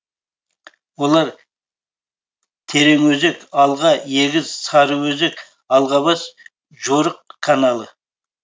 олар тереңөзек алға егіз сарыөзек алғабас жорық каналы